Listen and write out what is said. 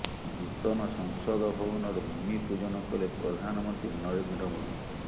ନୂତନ ସଂସଦ ଭବନର ଭୂମି ପୂଜନ କଲେ ପ୍ରଧାନମନ୍ତ୍ରୀ ନରେନ୍ଦ୍ର ମୋଦି